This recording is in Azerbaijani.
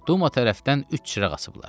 Duma tərəfdən üç çıraq açıblar.